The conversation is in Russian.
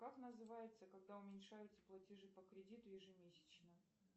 как называется когда уменьшаются платежи по кредиту ежемесячно